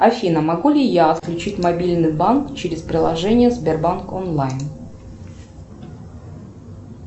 афина могу ли я отключить мобильный банк через приложение сбербанк онлайн